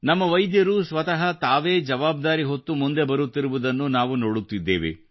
ನಮ್ಮ ವೈದ್ಯರು ಸ್ವತಃ ತಾವೇ ಜವಾಬ್ದಾರಿ ಹೊತ್ತು ಮುಂದೆ ಬರುತ್ತಿರುವುದನ್ನು ನಾವು ನೋಡುತ್ತಿದ್ದೇವೆ